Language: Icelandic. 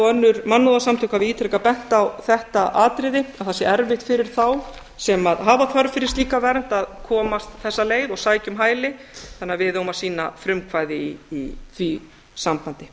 önnur mannúðarsamtök hafa ítrekað bent á þetta atriði að það sé erfitt fyrir þá sem hafa þörf fyrir slíka vernd að koma þessa leið og sækja um hæli þannig að við eigum að sýna frumkvæði í því sambandi